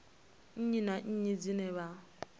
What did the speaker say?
nnyi na nnyi dzine vha